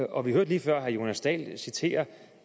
og vi hørte lige før herre jonas dahl citere